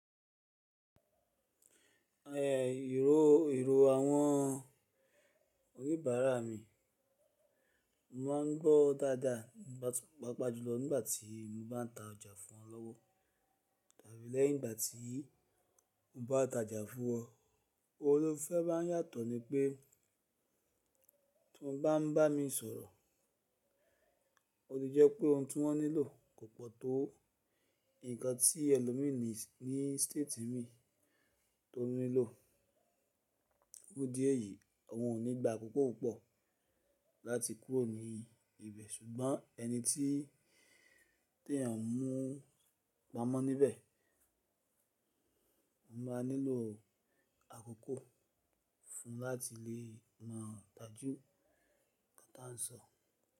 Èrò, èrò àwọn ònibará mi, mo máa ń gbọ́ dáadáa nígbà tí pàápàjùlọ nígbà tí mo bá ń ta ọjà fún wọn lọ́wọ́. Tàbí lẹ́yìn ìgbà tí mo bá ta ọjà fún wọn, ohun tó fẹ́ máa ń yàtọ̀ ni pé tí wọ́n bá ń bá mi sọ̀rọ̀, ó ti jẹ́ pé ohun tí wọ́n nílò kò pọ̀ tó ǹkan tí ẹlòmíràn ní, ní staati mi tó nílò. Fún ìdí èyí, àwọn kò ní gba àkókò púpọ̀ láti kúrò níbẹ̀, ṣùgbọ́n ẹni tí èyàn mú pamọ́ níbẹ̀ a máa nílò àkókò fún un láti lè mọ̀ dájú nǹkan tí à ń sọ.